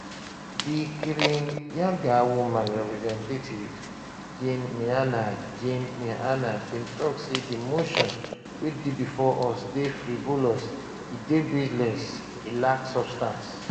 di kirinyaga woman representative jane miana jane miana bin tok say di motion wey dey bifor us dey frivolous e dey baseless e lack substance